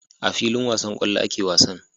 A filin wasan kwallo ake wasan